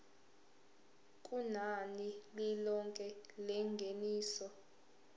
kunani lilonke lengeniso